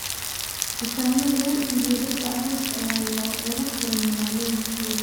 Dukaamo lagu ibiyo dharka arooska ayaa laga furay magaalooyinkooda.